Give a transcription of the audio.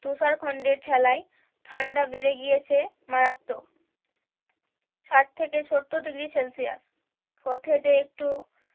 তুষার খন্ডের ঠেলায় ঠান্ডা বেড়ে গিয়েছে মারাত্মক ষাট থেকে সত্তর ডিগ্রি সেলসিয়াস পথে যে একটু